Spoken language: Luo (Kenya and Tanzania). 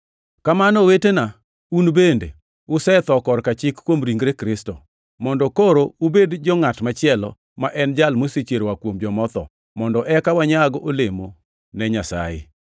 Kamano owetena, un bende, usetho korka chik kuom ringre Kristo, mondo koro ubed jo-ngʼat machielo, ma en Jal mosechier oa kuom joma otho, mondo eka wanyag olemo ne Nyasaye.